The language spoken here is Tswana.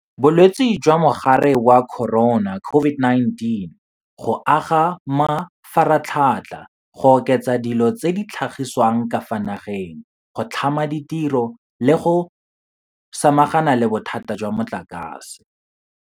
Bolwetse jwa Mogare wa Corona, COVID-19, go aga mafaratlhatlha, go oketsa dilo tse di tlhagisiwang ka fa nageng, go tlhama ditiro le go samagana le bothata jwa motlakase.